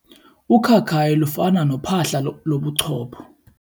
Ukhakayi lufana nophahla lobuchopho.